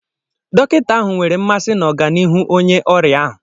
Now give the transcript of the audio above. Dọkịta ahụ nwere mmasị na ọganihu onye ọrịa ahụ.